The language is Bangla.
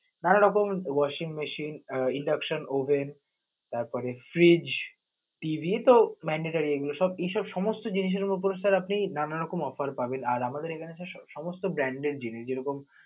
নানা রকম washing machine, induction oven তারপরে fridge, TV তো mandetory এগুলো এসব ~এসব সমস্ত জিনিসের উপর sir আপনি নানা রকম offer পাবেন, আর আমাদের এখানে সমস্ত brand এর জিনিস যে রকম